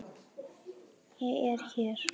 Ég er hér.